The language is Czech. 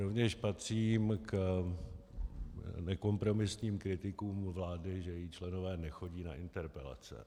Rovněž patřím k nekompromisním kritikům vlády, že její členové nechodí na interpelace.